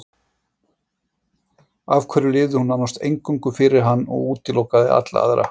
Af hverju lifði hún nánast eingöngu fyrir hann og útilokaði alla aðra?